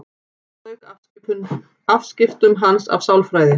Þá lauk afskiptum hans af sálfræði.